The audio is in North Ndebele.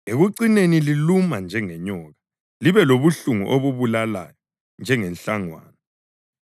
Ekucineni liluma njengenyoka libe lobuhlungu obubulalayo njengenhlangwana.